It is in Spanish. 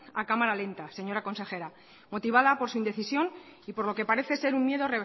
a cámara lenta señora consejera motivada por su indecisión y por lo que parece ser un miedo